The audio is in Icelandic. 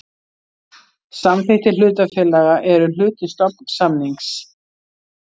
Samþykktir hlutafélaga eru hluti stofnsamnings.